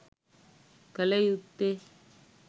කළ යුත්තේ